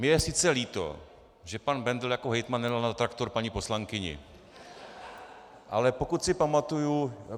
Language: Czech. Mně je sice líto, že pan Bendl jako hejtman nedal na traktor paní poslankyni , ale pokud si pamatuji...